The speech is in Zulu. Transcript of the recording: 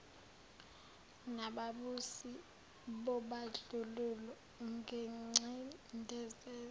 nababusi bobandlululo nengcindezelo